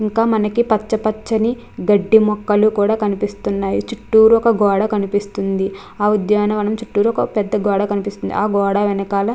ఇంకా మనకి పక్కనే గడ్డి మొక్కలు కనిపిస్తున్నాయి చుట్టూరు ఒక గోడ కనిపిస్తుంది ఆ ఉద్యాన వనం చుట్టూరు ఒక గోడ కనిపిస్తుంది ఆ గోడ వెనకాల --